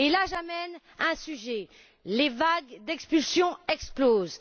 J'amène un autre sujet les vagues d'expulsion explosent.